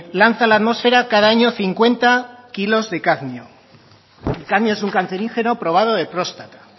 lanza a la atmosfera cada año cincuenta kilos de cadmio el cadmio es un cancerígeno probado de próstata